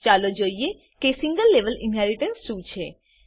ચાલો જોઈએ કે સિંગલ લેવલ ઇનહેરીટન્સ શું છે